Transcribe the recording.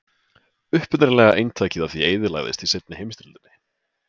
Upprunalega eintakið af því eyðilagðist í seinni heimsstyrjöldinni.